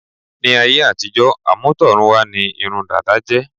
Ní áyé àtijọ́, àmútọ̀run wá ní irun dada jẹ́.